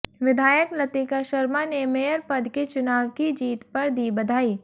विधायक लतिका शर्मा ने मेयर पद के चुनाव की जीत पर दी बधाई